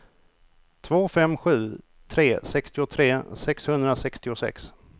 två fem sju tre sextiotre sexhundrasextiosex